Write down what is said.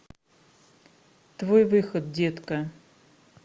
твой выход детка